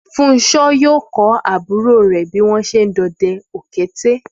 Fúnṣo yóò kọ́ àbúrò rẹ̀ bí wọ́n ṣe ń dọdẹ ọ̀kẹ́rẹ́